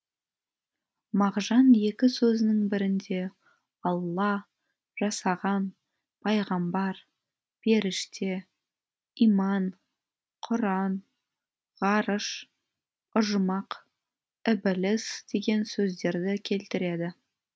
мағжан екі сөзінің бірінде алла жасаған пайғамбар періште иман құран ғарыш ұжмақ ібіліс деген сөздерді келтіреді